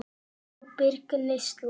Ábyrg neysla.